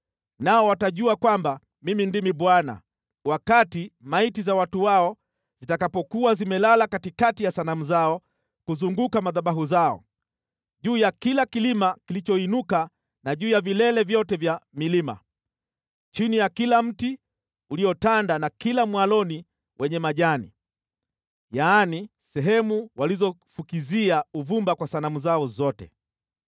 Nao watajua kwamba Mimi ndimi Bwana , wakati maiti za watu wao zitakapokuwa zimelala katikati ya sanamu zao kuzunguka madhabahu yao, juu ya kila kilima kilichoinuka na juu ya vilele vyote vya milima, chini ya kila mti uliotanda na kila mwaloni wenye majani, yaani, sehemu walizofukizia uvumba kwa sanamu zao zote.